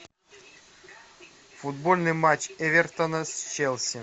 футбольный матч эвертона с челси